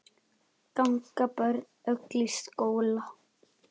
Ganga öll börn í skóla.